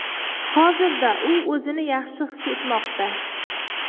Hozirda u o‘zini yaxshi his etmoqda.